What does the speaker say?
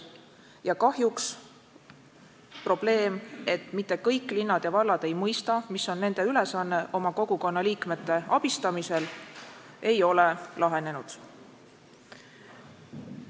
Ja kahjuks probleem, et mitte kõik linnad ja vallad ei mõista, mis on nende ülesanne oma kogukonna liikmete abistamisel, ei ole lahenenud.